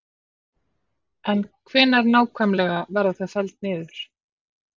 En hvenær nákvæmlega verða þau felld niður?